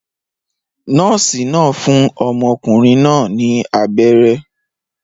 Nọ́ọ̀sì náà fún ọmọkùnrin náà ní abẹ́rẹ́